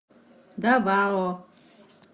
давао